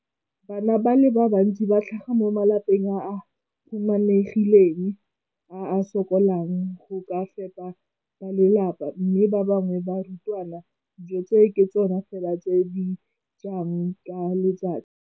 Bana ba le bantsi ba tlhaga mo malapeng a a humanegileng a a sokolang go ka fepa ba lelapa mme ba bangwe ba barutwana, dijo tseo ke tsona fela tse ba di jang ka letsatsi.